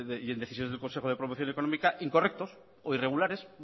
y en decisiones del consejo de promoción económica incorrectos o irregulares